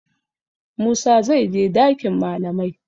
Musa zai je dakin malamai.